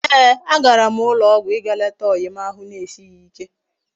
Eeh!! Agaram na ulo ogwu íga leta oyi m ahu na esighi ike